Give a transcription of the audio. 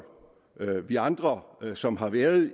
vi andre som har været